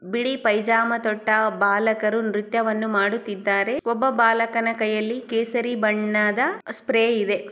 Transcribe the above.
ಬಿಳಿ ಪೈಜಾಮತೊಟ್ಟ ಬಾಲಕರು ನೃತ್ಯವನ್ನು ಮಾಡುತ್ತಿದ್ದಾರೆ. ಒಬ್ಬ ಬಾಲಕನ ಕೈಯಲ್ಲಿ ಕೇಸರಿ ಬಣ್ಣದ ಸ್ಪ್ರೇ ಇದೆ.